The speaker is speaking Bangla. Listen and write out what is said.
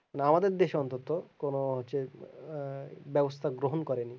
আমাদের দেশে অন্তত কোনো হচ্ছে আহ ব্যবস্তা গ্রহণ করেনি